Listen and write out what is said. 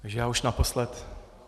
Takže já už naposled.